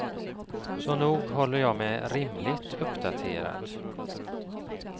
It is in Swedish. Så nog håller jag mig rimligt uppdaterad.